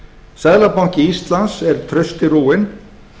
seðlabanki íslands er trausti rúinn